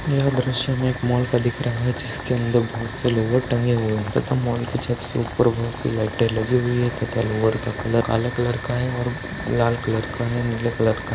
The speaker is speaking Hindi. यह दृश्य में एक मॉल का दिख रहा है जिसके अन्दर बहोत से लोवर टंगे हुए हैं तथा मॉल के छत के ऊपर बहोत सी लाइटे लगी हुई हैं तथा लोवर का कलर काला कलर का है और लाल कलर का हैनीले कलर का --